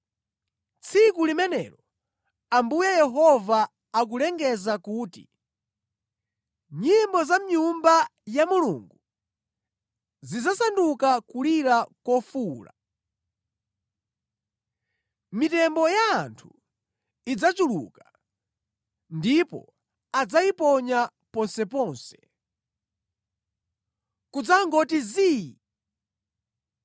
“Tsiku limenelo,” Ambuye Yehova akulengeza kuti, “Nyimbo za mʼNyumba ya Mulungu zidzasanduka kulira kofuwula. Mitembo ya anthu idzachuluka, ndipo adzayiponya ponseponse! Kudzangoti zii!”